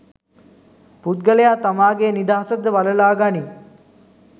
පුද්ගලයා තමාගේ නිදහස ද වළලා ගනී.